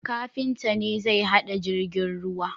Kafinta ne zai hada jirgin ruwa